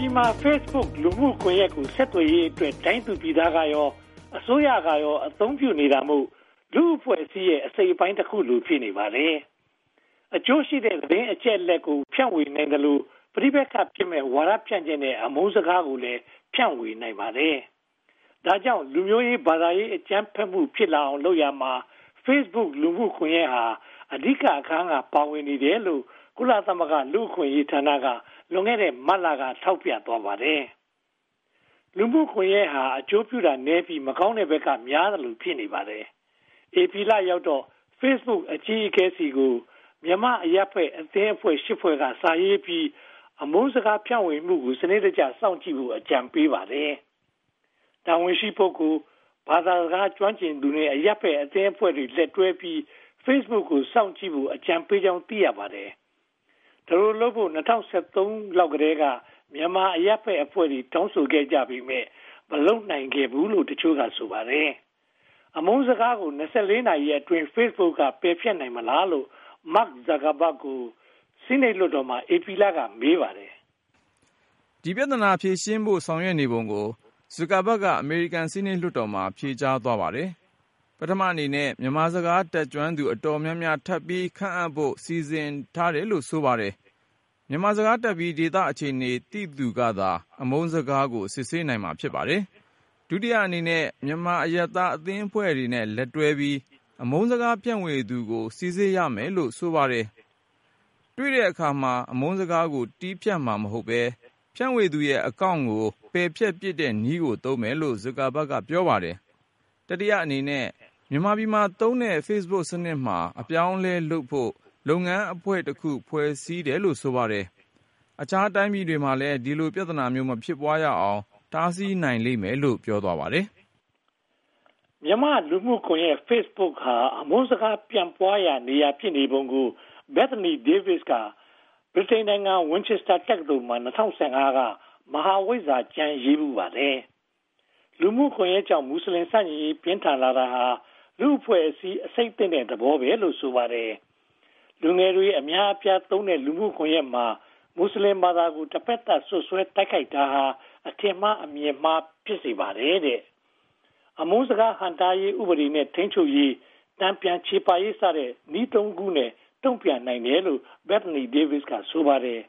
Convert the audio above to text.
ပြည်မှာ Facebook လူမှုကွန်ရက်ကို ဆက်သွယ်ရေးအတွက် တိုင်းသူပြည်သားကရော၊ အစိုးရကရော အသုံးပြုနေတာမို့ လူ့အဖွဲ့အစည်းရဲ့ အစိတ်အပိုင်းတခုလို ဖြစ်နေပါတယ်။ အကျိုးရှိတဲ့ သတင်းအချက်အလက်တွေကို ဖြန့်ဝေနိုင်သလို ပဋိပက္ခဖြစ်မယ့် ဝါဒဖြန့်ချက်နဲ့ အမုန်းစကားကိုလည်း ဖြန့်ဝေနိုင်ပါတယ်။ ဒါကြောင့် လူမျိုးရေး၊ ဘာသာရေး အကြမ်းဖက်မှု ဖြစ်လာအောင်လုပ်ရာမှာ Facebook လူမှုကွန်ရက်ဟာ အဓိကအခန်းပါဝင်နေတယ်လို့ ကုလသမဂ္ဂလူ့အခွင့်အရေးဌာနက လွန်ခဲ့တဲ့ မတ်လက ထောက်ပြသွားပါတယ်။ လူမှုကွန်ရက်ဟာ အကျိုးပြုတာနည်းပြီး မကောင်းတဲ့ဘက်က များသလို ဖြစ်နေပါတယ်။ ဧပြီလရောက်တော့ Facebook အကြီးအကဲဆီကို မြန်မာ့အရပ်ဘက်အသင်းအဖွဲ့ (၈) ဖွဲ့က စာရေးပြီး အမုန်းစကားဖြန့်ဝေမှုကို စနစ်တကျ စောင့်ကြည့်ဖို့ အကြံပြုပါတယ်။ တာဝန်ရှိပုဂ္ဂိုလ်၊ ဘာသာစကားကျွမ်းကျင်သူနဲ့ အရပ်ဘက်အသင်းအဖွဲ့တွေ လက်တွဲပြီး Facebook ကို စောင့်ကြည့်ဖို့ အကြံပေးကြောင်း သိရပါတယ်။ ဒီလိုလုပ်ဖို့ ၂၀၁၃ လောက်ကတည်းက မြန်မာအရပ်ဘက်အဖွဲ့တွေ တောင်းဆိုခဲ့ကြပေမယ့် မလုပ်နိုင်ခဲ့ကြဘူးလို့လည်း တချို့က ဆိုပါတယ်။ အမုန်းစကားကို (၂၄) နာရီအတွင်း Facebook ပယ်ဖျက်နိုင်ပါ့မလားလို့ Mark Zuckerberg ကို ဆီးနိတ်လွှတ်တော်မှာ ဧပြီလက မေးပါတယ်။ ဒီပြဿနာကို ဖြေရှင်းဖို့ ဆောင်ရွက်နေပုံကို Zuckerberg က ဆီးနိတ်လွှတ်တော်မှာ ဖြေကြားသွားပါတယ်။ ပထမအနေနဲ့ မြန်မာစကား တတ်ကျွမ်းသူ အတော်များများထပ်ပြီးခန့်ဖို့ စီစဉ်ထားတယ်လို့ ဆိုပါတယ်။ မြန်မာစကားတတ်ပြီး ဒေသအခြေအနေသိသူကသာ အမုန်းစကားကို စစ်ဆေးနိုင်ပါတယ်။ ဒုတိယအနေနဲ့ မြန်မာအရပ်သားအသင်းအဖွဲ့တွေနဲ့ လက်တွဲပြီး အမုန်းစကားဖြန့်ဝေသူကို စီစစ်ရမယ်လို့ ဆိုပါတယ်။ တွေ့တဲ့အခါမှာ အမုန်းစကားကို တည်ဖြတ်မှာမဟုတ်ဘဲ ဖြန့်ဝေသူရဲ့ Account ကို ပယ်ဖျက်ပစ်တဲ့နည်းကို သုံးမယ်လို့ Zuckerberg က ပြောပါတယ်။ တတိယအနေနဲ့ မြန်မာပြည်မှာသုံးတဲ့ Facebook စနစ်မှာ အပြောင်းအလဲလုပ်ဖို့ လုပ်ငန်းအဖွဲ့တခု ဖွဲ့စည်းထားတယ်လို့ ဆိုပါတယ်။ အခြားတိုင်းပြည်တွေမှာလည်း ဒီလိုပြဿနာမျိုး မဖြစ်ပွားရအောင် တားဆီးနိုင်လိမ့်မယ်လို့ ပြောသွားပါတယ်။ မြန်မာ့လူမှုကွန်ရက် Facebook ဟာ အမုန်းစကား ပြန့်ပွားရာနေရာ ဖြစ်နေပုံကို Bethany Davis က ဗြိတိန်နိုင်ငံ Winchester တက္ကသိုလ်မှာ ၂၀၁၅ က မဟာဝိဇ္ဇာကျမ်းရေးဖူးပါတယ်။ လူမှုကွန်ရက်ကြောင့် မွတ်စလင်ဆန့်ကျင်ရေး ပြင်းထန်လာတာဟာ လူ့အဖွဲ့အစည်း အဆိပ်သင့်တဲ့ သဘောပဲလို ဆိုပါတယ်။ လူငယ်တွေ အများဆုံးသုံးတဲ့ လူမှုကွန်ရက်မှာ မွတ်စလင်ဘာသာကို တဘက်သတ် စွပ်စွဲတိုက်ခိုက်တာဟာ အထင်မှားအမြင်မှား ဖြစ်စေပါတယ်တဲ့။ အမုန်းစကားဟန့်တားရေး၊ ဥပဒေနဲ့ ထိန်းချုပ်ရေး၊ တန်ပြန်ချေပရေး စတဲ့ နည်းသုံးခုနဲ့ တုံ့ပြန်နိုင်တယ်လို့ Bethany Davis က ဆိုပါတယ်